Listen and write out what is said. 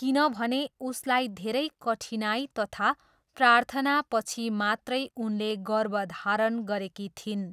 किनभने उसलाई धेरै कठिनाइ तथा प्रार्थनापछि मात्रै उनले गर्भधारण गरेकी थिइन्।